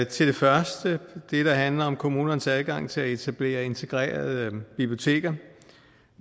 til det første der handler om kommunernes adgang til at etablere integrerede biblioteker